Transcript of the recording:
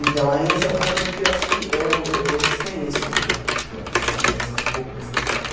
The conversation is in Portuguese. Então, aí esse é um fator que eu acho que eu eu desconheço um pouco, dessa dessa um pouco dessa história.